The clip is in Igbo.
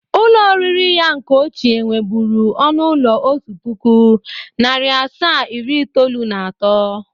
Ụlọ oriri ya nke ochie nwebụru ọnụ ụlọ otu pụkụ, narị asaa iri itoolu na atọ.